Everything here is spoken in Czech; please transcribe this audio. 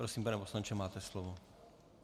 Prosím, pane poslanče, máte slovo.